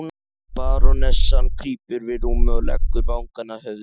Barónessan krýpur við rúmið og leggur vangann að höfði hans.